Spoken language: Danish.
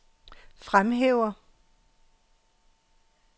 fremhæver